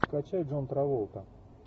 скачай джон траволта